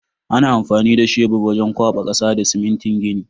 Ana amfani da sheburi wajen kwaba kasa da simintin gini.